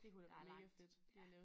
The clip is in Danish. Der langt ja